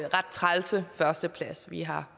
ret trælse førsteplads vi har